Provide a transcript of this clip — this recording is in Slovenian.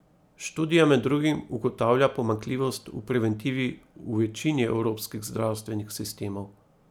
Študija med drugim ugotavlja pomanjkljivost v preventivi v večini evropskih zdravstvenih sistemov.